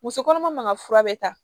Muso kɔnɔma man ka fura bɛ ta